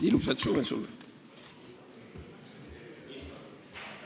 Ilusat suve sulle!